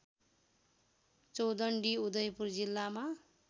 चौडण्डी उदयपुर जिल्लामा